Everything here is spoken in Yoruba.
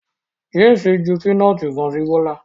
James ju pinọti kan si Bola